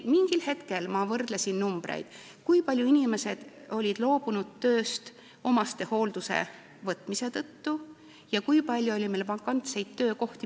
Ma olen võrrelnud, kui paljud inimesed olid loobunud tööst omastehooldajaks hakkamise tõttu ja kui palju oli meil vakantseid töökohti.